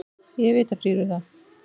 Ég er vita frír við það.